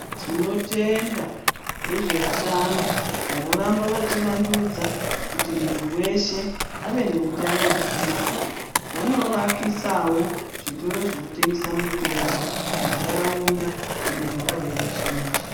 Tinotenda vezveutano vanoramba vachivandudza kuti muntu weshe ave neutano hwakanaka vanovakisawo zvitoro zvinotengesa mitombo muntaraunda inogara veruzhinji.